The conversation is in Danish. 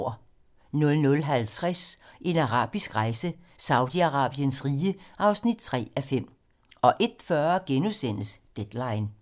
00:50: En arabisk rejse: Saudi-Arabiens rige (3:5) 01:40: Deadline *